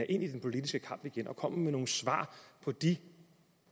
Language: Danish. ind i den politiske kamp igen og kommer med nogle svar på de